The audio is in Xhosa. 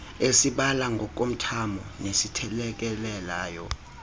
esibala ngokomthamo nesithelekelelayo